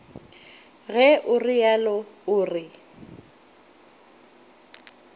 ge o realo o re